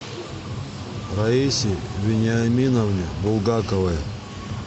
раисе вениаминовне булгаковой